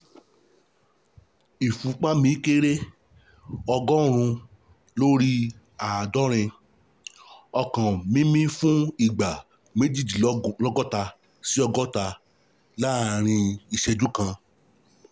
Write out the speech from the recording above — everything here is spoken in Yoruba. Ìfúnpá mi kéré (ọgọ́rùn-ún lórí àádọ́rin), ọkàn mímì fún ìgbà méjìdínlọ́gọ́ta sí ọgọ́ta láàrin ìṣẹ̀jú kan